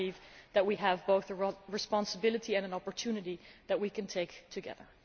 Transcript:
I believe that we have both the responsibility and an opportunity that we can take together.